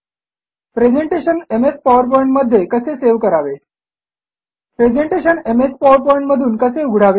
presentation MS PowerPoint मध्ये कसे save करावे प्रेझेंटेशन एमएस पॉवरपॉइंट मधून कसे उघडावे